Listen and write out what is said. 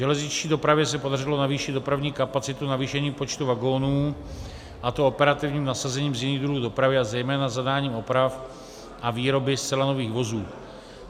Železniční dopravě se podařilo navýšit dopravní kapacitu navýšením počtu vagonů, a to operativním nasazením z jiných druhů dopravy a zejména zadáním oprav a výroby zcela nových vozů.